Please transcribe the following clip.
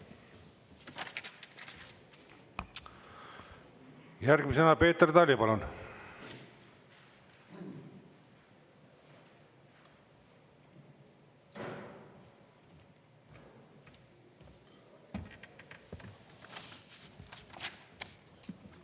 Järgmisena Peeter Tali, palun!